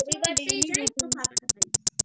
রবিবার টাই যা একটু ফাঁকা পাইI